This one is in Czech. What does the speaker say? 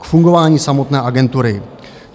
K fungování samotné agentury.